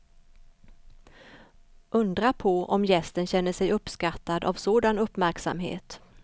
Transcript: Undra på om gästen känner sig uppskattad av sådan uppmärksamhet.